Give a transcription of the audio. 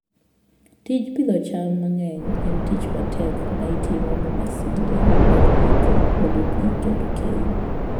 Tij pidho cham mang'eny en tich matek ma itimo gi masinde mag pidho, olo pi, kendo keyo.